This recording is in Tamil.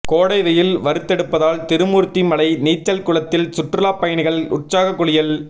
கோடை வெயில் வறுத்தெடுப்பதால் திருமூர்த்திமலை நீச்சல் குளத்தில் சுற்றுலா பயணிகள் உற்சாக குளியல்